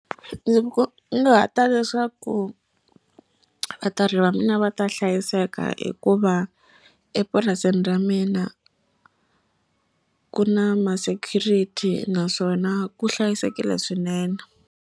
Ndzi kunguhata leswaku vatirhi va mina va ta hlayiseka hikuva epurasini ra mina ku na ma-security naswona ku hlayisekile swinene.